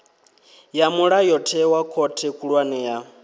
ya mulayotewa khothe khulwane ya